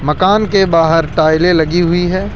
मकान के बाहर टाइलें लगी हुई है।